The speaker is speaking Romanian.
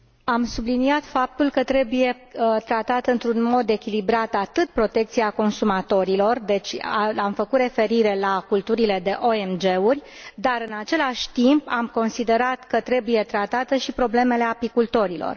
Am subliniat faptul că trebuie tratată într un mod echilibrat atât protecția consumatorilor deci am făcut referire la culturile de OMG uri dar, în același timp, am considerat că trebuie tratate și problemele apicultorilor.